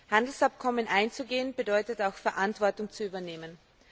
Handelsabkommen einzugehen bedeutet auch Verantwortung zu übernehmen.